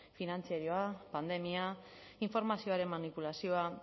finantzarioa pandemia informazioaren manipulazioa